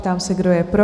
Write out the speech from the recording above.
Ptám se, kdo je pro?